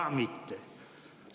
Ka mitte.